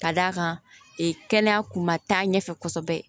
Ka d'a kan kɛnɛya kun ma taa ɲɛfɛ kɔsɛbɛ